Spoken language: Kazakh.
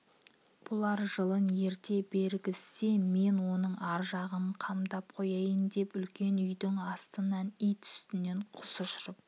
бұлар жылын ерте бергізсе мен оның ар жағын қамдап қояйын деп үлкен үйдің астынан ит үстінен құс ұшырып